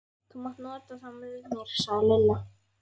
Þú mátt nota þá með mér sagði Lilla.